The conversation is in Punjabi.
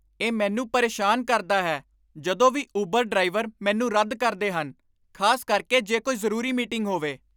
ਇਹ ਮੈਨੂੰ ਪਰੇਸ਼ਾਨ ਕਰਦਾ ਹੈ ਜਦੋਂ ਵੀ ਉਬਰ ਡਰਾਈਵਰ ਮੈਨੂੰ ਰੱਦ ਕਰਦੇ ਹਨ ਖ਼ਾਸ ਕਰਕੇ ਜੇ ਕੋਈ ਜ਼ਰੂਰੀ ਮੀਟਿੰਗ ਹੋਵੇ।